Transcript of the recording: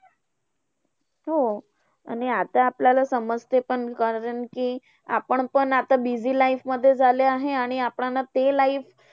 हो! आणि आता आपल्याला समजतंय. कारण कि आपण पण आता busy life मध्ये झाले आहे, आणि आपल्यांना ते life